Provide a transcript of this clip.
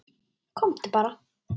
Komdu bara.